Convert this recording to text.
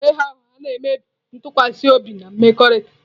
Ịgha ụgha na-emebi ntụkwasị obi na mmekọrịta.